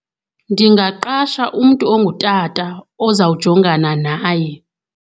Ndingaqasha umntu ongutata ozawujongana naye.